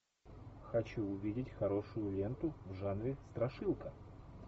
хочу увидеть хорошую ленту в жанре страшилка